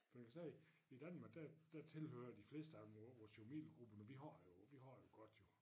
For man kan sige i Danmark der der tilhører de fleste af vores jo middelgruppe men vi har det jo vi har det jo godt jo